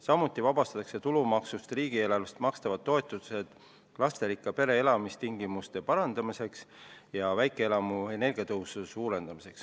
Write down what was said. Samuti vabastatakse tulumaksust riigieelarvest makstavad toetused lasterikka pere elamistingimuste parandamiseks ja väikeelamu energiatõhususe suurendamiseks.